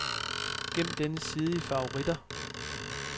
Gem denne side i favoritter.